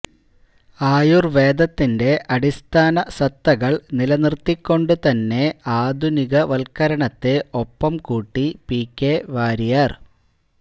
ആയുർവേദത്തിന്റെ അടിസ്ഥാന സത്തകൾ നില നിർത്തിക്കൊണ്ട് തന്നെ ആധുനികവൽക്കരണത്തെ ഒപ്പം കൂട്ടി പികെ വാരിയർ